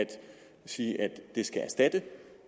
sige at det skal erstatte